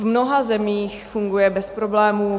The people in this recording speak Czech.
V mnoha zemích funguje bez problémů.